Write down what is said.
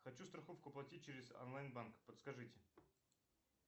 хочу страховку платить через онлайн банк подскажите